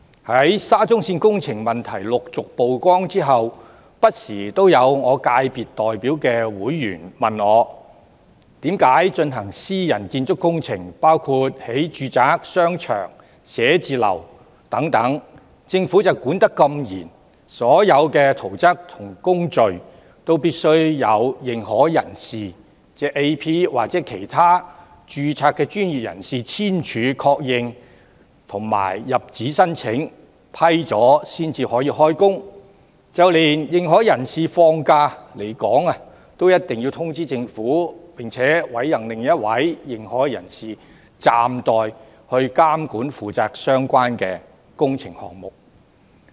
在沙中線工程問題陸續曝光後，不時有我所代表界別的人士問我，為何在進行私人建築工程，包括興建住宅、商場、寫字樓等時，政府的監管那麼嚴格，所有圖則和工序都必須經由認可人士或其他註冊專業人士簽署確認和入紙申請，經批准後才可以動工，就連認可人士放假離港都必須通知政府，並委任另一位認可人士負責暫代監管相關工程項目。